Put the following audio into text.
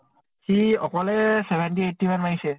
সি অকলে seventy eighty মান মাৰিছে।